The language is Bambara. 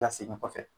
Lasegin kɔfɛ